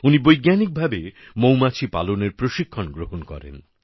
উনি বৈজ্ঞানিক ভাবে মৌমাছি পালনের প্রশিক্ষণ গ্রহণ করেন